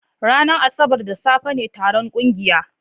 Ranar Asabar da safe ne taron ƙungiyar